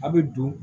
A' bɛ don